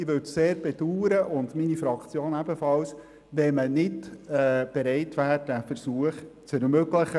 Ich würde es, ebenso wie meine Fraktion, sehr bedauern, wenn man diesen Versuch nicht wagte.